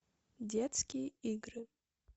детские игры